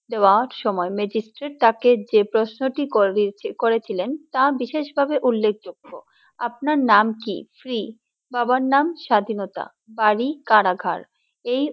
দেওয়ার সময় ম্যাজিস্ট্রেট তাকে যে প্রশ্নটিই করেছে করেছিলেন তা বিশেষভাবে উল্লেখযোগ্য আপনার নাম কি free বাবার নাম স্বাধীনতা বাড়ি কারাঘর